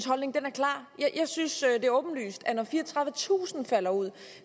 holdning er klar jeg synes det er åbenlyst at når fireogtredivetusind falder ud